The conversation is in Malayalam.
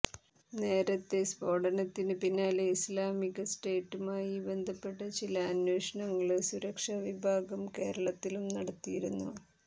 നേരത്തേ് സ്ഫോടനത്തിന് പിന്നാലെ ഇസ്ളാമിക സ്റ്റേറ്റുമായി ബന്ധപ്പെട്ട ചില അന്വേഷണങ്ങള് സുരക്ഷാ വിഭാഗം കേരളത്തിലും നടത്തിയിരുന്നു